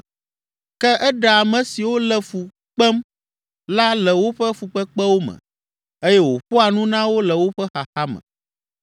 Ke eɖea ame siwo le fu kpem la le woƒe fukpekpewo me eye wòƒoa nu na wo le woƒe xaxa me.